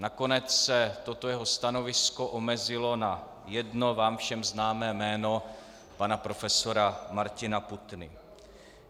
Nakonec se toto jeho stanovisko omezilo na jedno vám všem známé jméno - pana profesora Martina Putny.